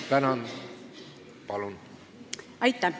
Aitäh!